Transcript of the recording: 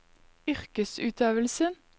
yrkesutøvelsen